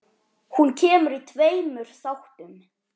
Hún kemur í tveimur þáttum.